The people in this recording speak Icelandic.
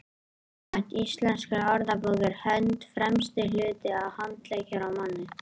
samkvæmt íslenskri orðabók er hönd „fremsti hluti handleggjar á manni